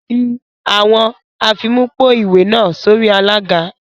Fi awọn afimupo-iwe naa sori alaga